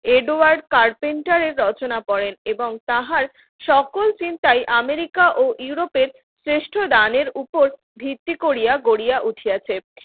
Edouard কার্পেন্টারের রচনা করেন এবং তাহার সকল চিন্তাই আমেরিকা ও ইউরোপের শ্রেষ্ঠ দানের উপর ভিত্তি করিয়া গড়িয়া গুছিয়েছে